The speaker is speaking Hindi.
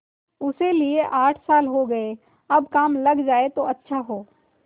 उसे लिये आठ साल हो गये अब काम लग जाए तो अच्छा हो